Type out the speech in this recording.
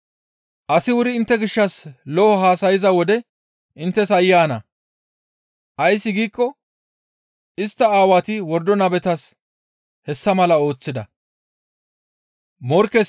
«Asi wuri intte gishshas lo7o haasayza wode inttes aayye ana! Ays giikko istta aawati wordo nabetas hessa mala ooththida.